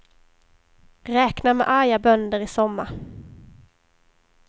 Räkna med arga bönder i sommar.